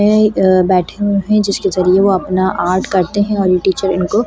ऐ बैठे हुए हैं जिसके जरिये वो अपना आर्ट करते हैं और इन टीचर इनको कंट्रोल --